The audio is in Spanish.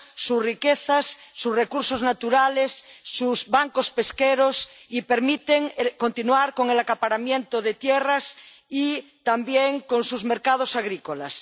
sus riquezas, sus recursos naturales y sus bancos pesqueros y permiten continuar con el acaparamiento de tierras y también con sus mercados agrícolas.